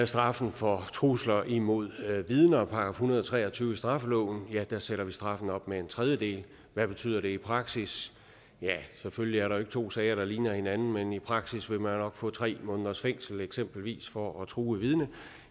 straffen for trusler imod vidner § en hundrede og tre og tyve i straffeloven sætter straffen op med en tredjedel hvad betyder det i praksis ja selvfølgelig er der ikke to sager der ligner hinanden men i praksis vil man nok få tre måneders fængsel eksempelvis for at true et vidne